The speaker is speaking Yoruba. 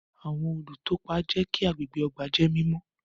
Awọn olutọpa jẹ kí agbègbè ọgbà jẹ mímọ